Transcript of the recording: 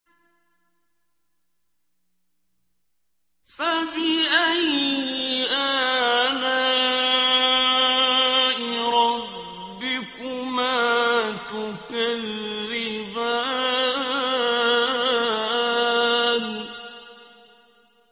فَبِأَيِّ آلَاءِ رَبِّكُمَا تُكَذِّبَانِ